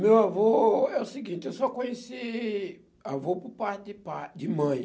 Meu avô é o seguinte, eu só conheci avô por parte de pai de mãe.